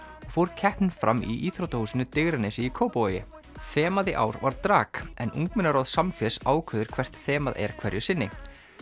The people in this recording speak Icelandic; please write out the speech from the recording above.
fór keppnin fram í íþróttahúsinu Digranesi í Kópavogi þemað í ár var drag en ungmennaráð Samfés ákveður hvert þemað er hverju sinni